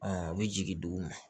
u bɛ jigin duguma